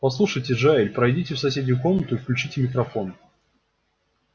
послушайте джаэль пройдите в соседнюю комнату и включите микрофон